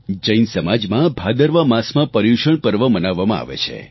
જૈન સમાજમાં ભાદરવા માસમાં પર્યુષણ પર્વ મનાવવામાં આવે છે